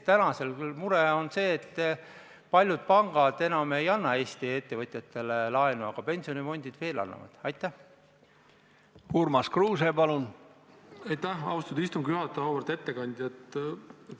Austatud ettekandja!